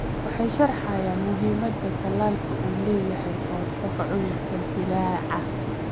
waxay sharxayaan muhiimadda tallaalku u leeyahay ka hortagga cudurrada dillaaca.